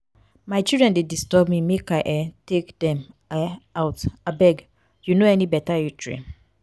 my children dey disturb me make i um take dem um out abeg you no any beta eatery?